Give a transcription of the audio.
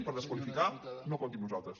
per desqualificar no compti amb nosaltres